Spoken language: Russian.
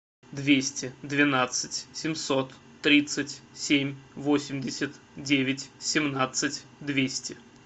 двести двенадцать семьсот тридцать семь восемьдесят девять семнадцать двести